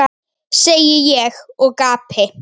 segi ég og gapi.